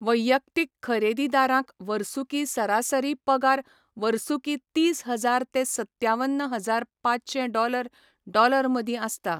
वैयक्तीक खरेदीदारांक वर्सुकी सरासरी पगार वर्सुकी तीस हजार ते सत्त्यावन हजार पाचशें डॉलर डॉलर मदीं आसता.